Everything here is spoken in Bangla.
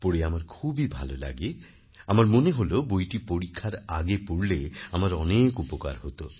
পড়ে আমার খুবই ভালো লাগে আমার মনে হল বইটি পরীক্ষার আগে পড়লে আমার অনেক উপকার হত